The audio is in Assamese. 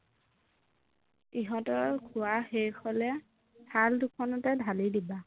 ইহঁতৰ খোৱা শেষ হলে থাল দুখনতে ঢালি দিবা